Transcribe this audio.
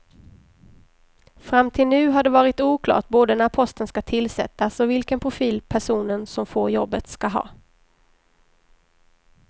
Fram till nu har det varit oklart både när posten ska tillsättas och vilken profil personen som får jobbet ska ha.